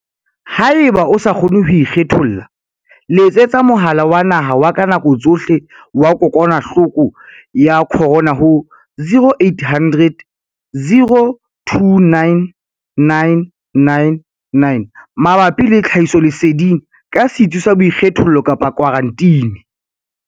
Haeba o sa kgone ho ikgetholla, letsetsa Mohala wa Naha wa ka Nako Tsohle wa Kokwanahloko ya Corona ho 0800 029 999 mabapi le tlhahisoleseding ka setsi sa boikgethollo kapa khwaranteni.